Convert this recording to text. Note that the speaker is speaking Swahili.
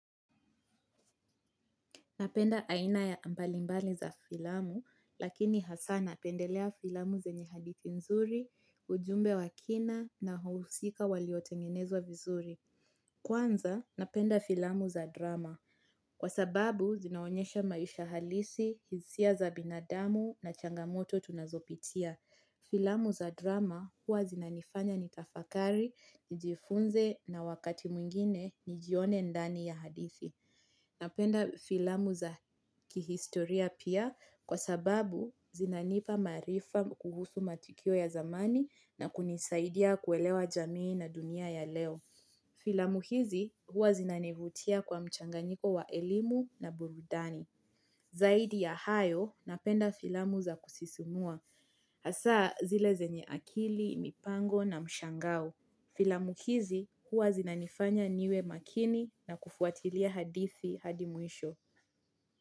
Napenda aina mbalimbali za filamu, lakini hasa napendelea filamu zenye hadithi nzuri, ujumbe wa kina na wahusika waliotengenezwa vizuri. Kwanza, napenda filamu za drama. Kwa sababu, zinaonyesha maisha halisi, hisia za binadamu na changamoto tunazopitia. Filamu za drama, huwa zinanifanya nitafakari, nijifunze na wakati mwingine, nijione ndani ya hadithi. Napenda filamu za kihistoria pia kwa sababu zinanipa maarifa kuhusu matukio ya zamani na kunisaidia kuelewa jamii na dunia ya leo. Filamu hizi huwa zinanivutia kwa mchanganyiko wa elimu na burudani. Zaidi ya hayo napenda filamu za kusisumua hasa zile zenye akili, mipango na mshangao. Filamu hizi, huwa zinanifanya niwe makini na kufuatilia hadithi hadi mwisho.